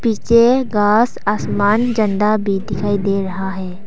पीछे घास आसमान झंडा भी दिखाई दे रहा है।